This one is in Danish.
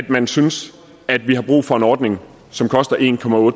man synes at vi har brug for en ordning som koster en